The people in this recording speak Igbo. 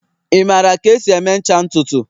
Ị maara ka esi eme ncha ntutu?